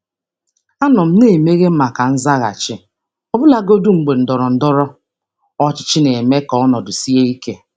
Ana m anọgide na-anabata nzaghachi, ọbụlagodi mgbe ndọrọndọrọ ụlọ ọrụ na-eme ka ọnọdụ sie ike.